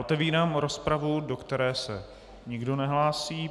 Otevírám rozpravu, do které se nikdo nehlásí.